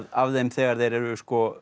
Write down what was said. af þeim þegar þeir eru